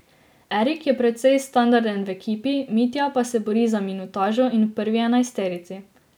Erik je precej standarden v ekipi, Mitja pa se bori za minutažo in v prvi enajsterici.